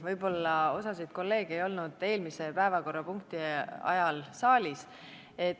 Võib-olla osa kolleege ei olnud eelmise päevakorrapunkti arutelu ajal saalis.